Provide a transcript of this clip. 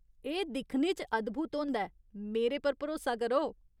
एह् दिक्खने च अद्भुत होंदा ऐ, मेरे पर भरोसा करो।